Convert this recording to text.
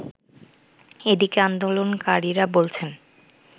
এদিকে আন্দোলনকারীরা বলছেন